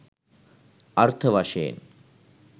අර්ථ වශයෙන්